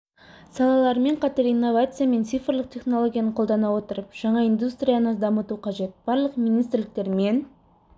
салалармен қатар инновация мен цифрлық технологияны қолдана отырып жаңа индустрияны дамыту қажет барлық министрліктер мен